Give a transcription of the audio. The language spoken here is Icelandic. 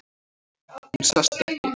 Hún sest ekki.